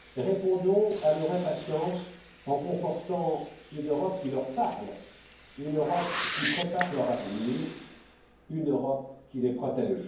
Répondons à leur impatience en confortant une Europe qui leur parle, une Europe qui prépare leur avenir, une Europe qui les protège.